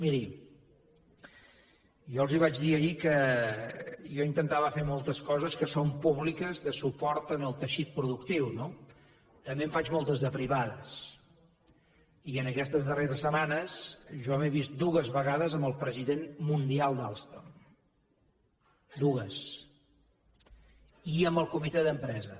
miri jo els vaig dir ahir que jo intentava fer moltes coses que són públiques de suport al teixit productiu no també en faig moltes de privades i aquestes darreres setmanes jo m’he vist dues vegades amb el president mundial d’alstom dues i amb el comitè d’empresa